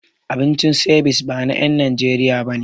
Abincin Ceviche ba na en Najeriya bane